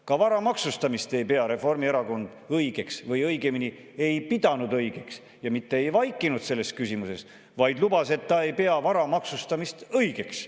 " Ka vara maksustamist ei pea Reformierakond õigeks või õigemini ei pidanud õigeks ja mitte ei vaikinud selles küsimuses, vaid lubas, et ta ei pea vara maksustamist õigeks.